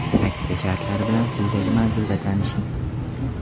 Aksiya shartlari bilan quyidagi manzilda tanishing.